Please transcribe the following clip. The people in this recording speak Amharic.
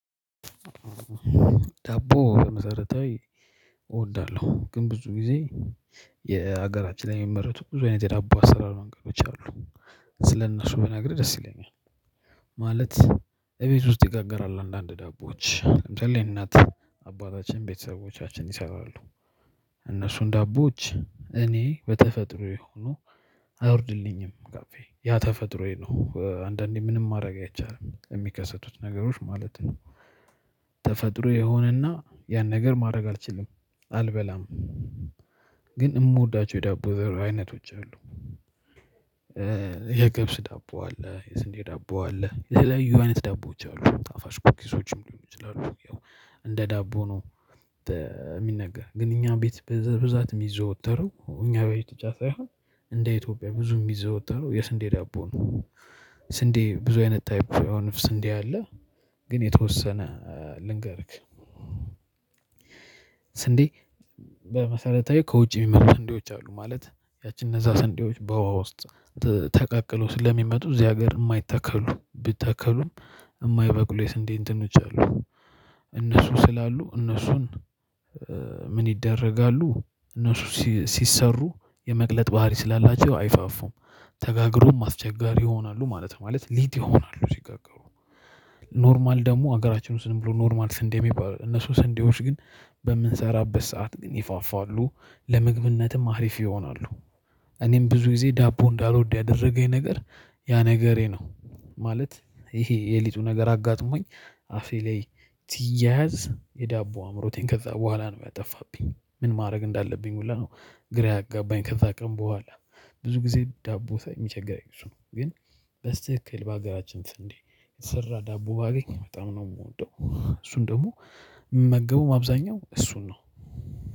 ዳቦ በመሠረታዊ እወዳለሁ፤ ግን ብዙ ጊዜ ዳቦ በመሠረታዊ እወዳለሁ፤ ግን ብዙ ጊዜ ስለ እነሱ ብነግርህ ደስ ይለኛል፤ ማለት እቤት ውስጥ ይጋገራል፤ አንዳንድ ዳቦዎች ደግሞ እናት አባታችን፣ ቤተሰቦቻችን ይሰራሉ። እነሱን ዳቦዎች እኔ በተፈጥሮ የሆኑ አይወርድልኝም ከአፌ፤ ያ ተፈጥሮዬ ነው፤ አንዳንዴ ምንም ማድረግ አይቻልም የሚከሰቱ ነገሮች ማለት ነው። ተፈጥሮዬ ይሆንና ያን ነገር ማድረግ አልችልም፤ አልበላም። ግን የምወዳቸው የዳቦ አይነቶች አሉ፤ የገብስ ዳቦ አለ፣ የስንዴ ዳቦ አለ፣ የተለያዩ አይነት ዳቦዎች አሉ፤ ጣፋጭ ኬኮችም ሊሆን ይችላል። እንደ ዳቦ ነው የሚነገረው፤ ግን እኛ ቤት በብዛት የሚዘወተረው፣ እኛ ቤት ተትቶ አሁን እንደ ኢትዮጵያ በብዛት የሚዘወተረው የስንዴ ዳቦ ነው፤ ስንዴ ብዙ አይነት ተሻሽሎ የሆነ ነጭ ስንዴ አለ ግን የተወሰነ ልንገርህ፤ ስንዴ በመሰረቱ ከውጭ የሚመጡ ስንዴዎች አሉ፤ ማለት እነዚያ ስንዴዎች በውኃ ውስጥ ተቀቅለው ስለሚመጡ፣ እዚህ አገር የማይዘሩ፣ ቢዘሩም የማይበቅሉ የስንዴ አይነቶች አሉ። እነሱ ስላሉ እነሱን ምን ይደረጋሉ? እነሱ ሲሰሩ የመቅለጥ ባህሪ ስላላቸው አይነፉም፤ ተጋግረውም አስቸጋሪ ይሆናሉ ማለት ነው፤ ማለት ሊጥ ይሆናሉ ሲጋገሩ። መደበኛ ደግሞ አገራችን ውስጥ "መደበኛ ስንዴ" የሚባሉ፣ እነዚያ ስንዴዎች ግን በምንሰራበት ሰዓት ግን ይነፋሉ፤ ለምግብነትም ጥሩ ይሆናሉ። እኔም ብዙ ጊዜ ዳቦ እንዳልወደው ያደረገኝ ነገር ያ ነገር ነው፤ ማለት ይሄ የሊጡ ነገር አጋጥሞኝ አፌ ላይ ሲያያዝ፣ የዳቦ አምሮቴን ከዚያ በኋላ ነው ያጠፋብኝ፤ ምን ማድረግ እንዳለብኝ ሁላ ነው ግራ ያጋባኝ ከዚያ ቀን በኋላ። ብዙ ጊዜ ዳቦ ሳይ የሚያስቸግረኝ እሱ ነው፤ ግን በትክክል በአገራችን ስንዴ የተሰራ ዳቦ በጣም ነው የምወደው፤ እሱን ደግሞ ምግቡም አብዛኛው እሱ ነው።